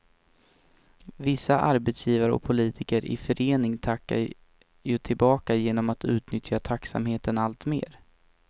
Vissa arbetsgivare och politiker i förening tackar ju tillbaka genom att utnyttja tacksamheten alltmer.